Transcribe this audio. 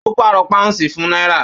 Ó pàrọ̀ pàúnsì fún náírà